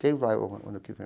Quem vai o o ano que vem?